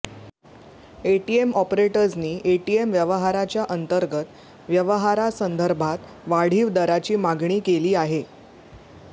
ATM ऑपरेटर्संनी ATM व्यवहाराच्या अंतर्गत व्यवहारासंदर्भात वाढीव दराची मागणी केली आहे